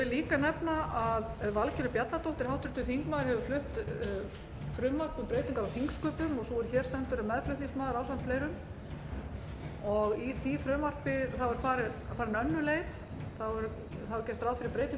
líka nefna að háttvirtur þingmaður valgerður bjarnadóttir hefur flutt frumvarp um breytingar á þingsköpum og sú er hér stendur er meðflutningsmaður ásamt fleirum þar var farin önnur leið það var gert ráð fyrir breytingum á